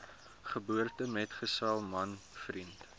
geboortemetgesel man vriend